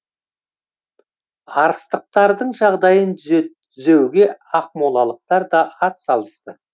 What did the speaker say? арыстықтардың жағдайын түзеуге ақмолалықтар да атсалысты